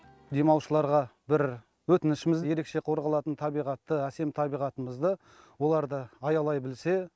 демалушыларға бір өтінішіміз ерекше қорғалатын табиғатты әсем табиғатымызды олар да аялай білсе